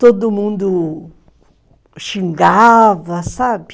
Todo mundo... xingava, sabe?